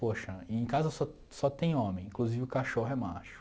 Poxa, em casa só só tem homem, inclusive o cachorro é macho.